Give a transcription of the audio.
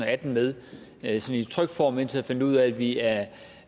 og atten med i trykt form indtil jeg fandt ud af at vi af